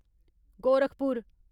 Gorakhpur